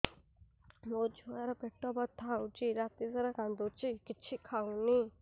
ମୋ ଛୁଆ ର ପେଟ ବଥା ହଉଚି ରାତିସାରା କାନ୍ଦୁଚି କିଛି ଖାଉନି